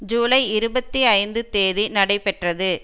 ஜூலை இருபத்தி ஐந்துந் தேதி நடைபெற்றது